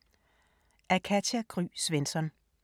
Af Katja Gry Svensson